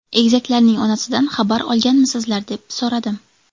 Egizaklarning onasidan xabar olganmisizlar?” deb so‘radim.